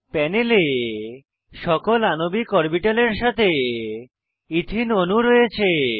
প্যানেলে সকল আণবিক অরবিটালের সাথে ইথিন অণু রয়েছে